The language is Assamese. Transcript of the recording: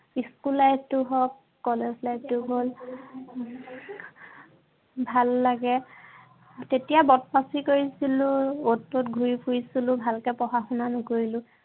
school life টো হওক, college life টো হওক, ভাল লাগে। তেতিয়া বদমাছী কৰিছিলো, অত ত'ত ঘূৰি ফুৰিছিলো, ভালকে পঢ়া-শুনা নকৰিলো।